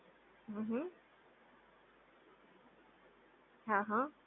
હમ્મ હમ્મ હા હા